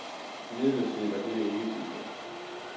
Imidlertid var dette ikke tilfældet.